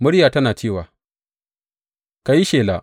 Muryar tana cewa, Ka yi shela.